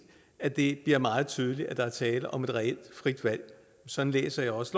at det bliver meget tydeligt at der er tale om et reelt frit valg sådan læser jeg også